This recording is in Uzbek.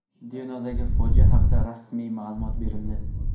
Denovdagi fojia haqida rasmiy ma’lumot berildi.